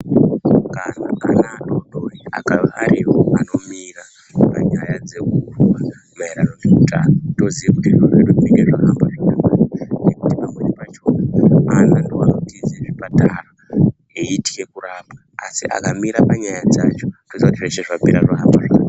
Kana ana adodori akaariwo anomira Panyaya dzekurwa maererano neutano toziye kuti zviro zviri kuite zvahamba zvakanaka ngekuti pamweni pachona ana ndoanotize zvipatara eitke kurapwa asi akamira panyaya dzacho toziya kuti zveshe zvapera zvahamaba zvaka.